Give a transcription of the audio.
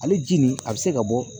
Ale ji nin a bɛ se ka bɔ